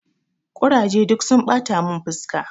Kuraje duk sun ɓata mun fuska.